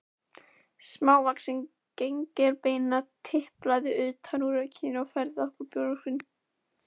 Smávaxin gengilbeina tiplaði utan úr rökkrinu og færði okkur bjórkrúsir.